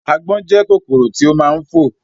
Àgbọ̀n jẹ́ kòkòrò tí ó máa ń fò